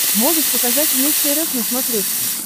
можешь показать вместе рф на смотрешке